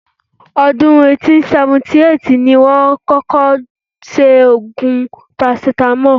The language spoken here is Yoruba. Ọdún 1878 ní wọ́n kọ́kọ́ ṣe oògùn parasítámọ̀.